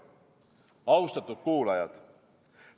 Austatud kuulajad!